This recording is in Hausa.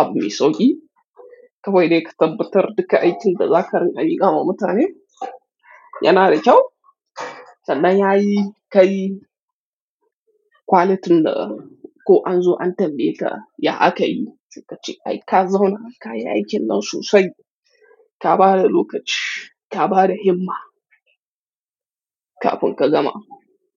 abu mai sauƙi. Kawai dai ka tabbatar duka aikin da za ka rinƙa yi gama mutane yanar kyau. Sannan ya yi ka yi quality ɗin ko an zo an tambaye ka, ya aka yi? Sai ka ce ai ka zauna, ka yi aikin nan sosai. Ka ba da lokaci, ka ba da himma kafin ka zama.